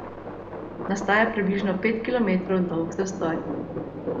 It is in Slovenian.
Nastaja približno pet kilometrov dolg zastoj.